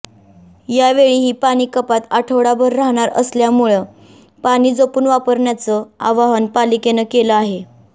यावेळी ही पाणीकपात आठवडाभर राहणार असल्यामुळं पाणी जपून वापरण्याचं आवाहन पालिकेनं केलं आहे